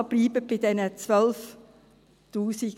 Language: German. Also, bleiben Sie bei diesen 12’000 Franken.